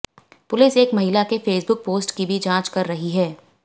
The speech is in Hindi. पुलिस एक महिला के फेसबुक पोस्ट की भी जांच कर रही है